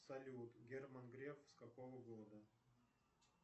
салют герман греф с какого города